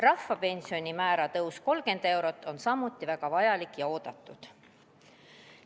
Rahvapensioni määra tõus 30 eurot on samuti väga vajalik ja oodatud.